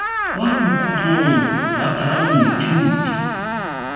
kwa bokhutlong jwa karabo moithuti